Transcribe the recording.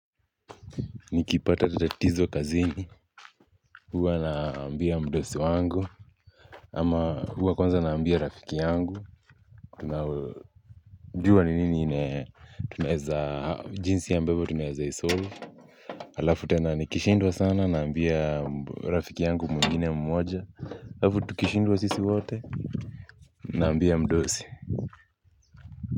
Nikipata tatatizo kazini huwa naambia mdosi wangu ama huwa kwanza naambia rafiki yangu. Tunajua ni nini tunaeza jinsi ambavyo tunaeza isolve halafu tena nikishindwa sana. Naambia rafiki yangu mwingine mmoja halafu tukishindwa sisi wote naambia mdosi.